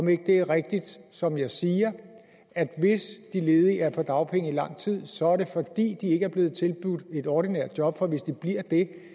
det ikke rigtigt som jeg siger at hvis de ledige er på dagpenge i lang tid så er det fordi de ikke er blevet tilbudt et ordinært job for hvis de bliver